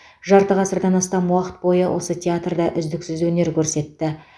жарты ғасырдан астам уақыт бойы осы театрда үздіксіз өнер көрсетті